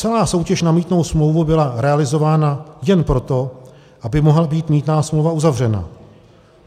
Celá soutěž na mýtnou smlouvu byla realizována jen proto, aby mohla být mýtná smlouva uzavřena.